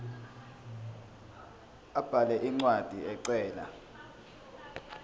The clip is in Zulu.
abhale incwadi ecela